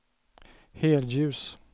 helljus